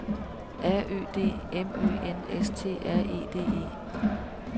R Ø D M Ø N S T R E D E